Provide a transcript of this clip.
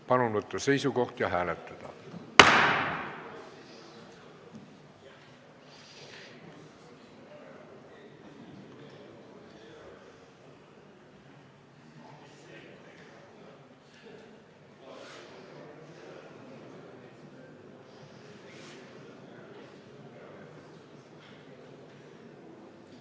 Palun võtta seisukoht ja hääletada!